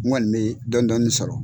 N kɔni be dɔɔni dɔɔni sɔrɔ.